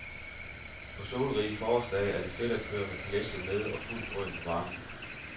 På solrige forårsdage er det fedt at køre med kalechen nede og fuld drøn på varmen.